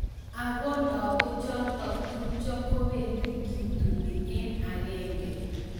Ako lagochotok tupcho kobendii kitunii eng agenge